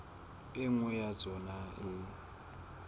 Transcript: e nngwe ya tsona e